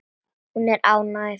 Hún er óánægð.